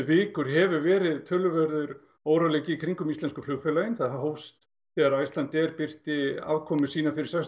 vikur hefur verið talsverður óróleiki í kringum íslensku flugfélögin það hófst þegar Icelandair birti afkomu sína fyrir